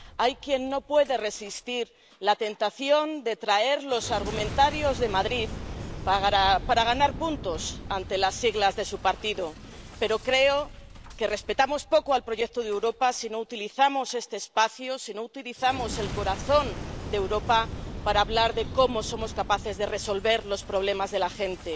Hay quien no puede resistir la tentación de traer los argumentarios de Madrid para ganar puntos ante las siglas de su partido, pero creo que respetamos poco el proyecto de Europa si no utilizamos este espacio, si no utilizamos el corazón de Europa para hablar de cómo somos capaces de resolver los problemas de la gente.